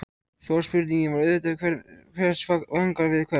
Stóra spurningin var auðvitað: Hver vangar við hvern?